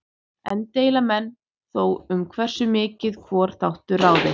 Enn deila menn þó um hversu miklu hvor þáttur ráði.